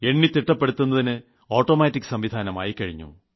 എണ്ണിത്തിട്ടപ്പെടുത്തുന്നതിന് automatic സംവിധാനം ആയിക്കഴിഞ്ഞു